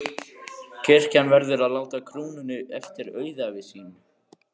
Kirkjan verður að láta krúnunni eftir auðæfi sín.